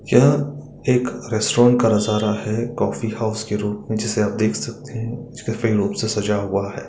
यह एक रेस्टोरेंट का नजारा है कोफ़ी हाउस के रूप जिसे आप देख सकते से सजा हुआ है।